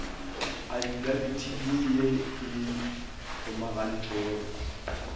afidabiti ya ye e kgomagantšwego